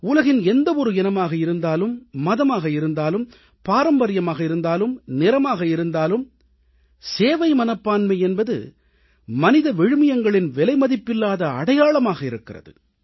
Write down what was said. உலகின் எந்தவொரு இனமாக இருந்தாலும் மதமாக இருந்தாலும் பாரம்பரியமாக இருந்தாலும் நிறமாக இருந்தாலும் சேவை மனப்பான்மை என்பது மனித விழுமியங்களின் விலைமதிப்பில்லாத அடையாளமாக இருக்கிறது